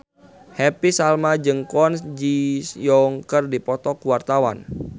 Happy Salma jeung Kwon Ji Yong keur dipoto ku wartawan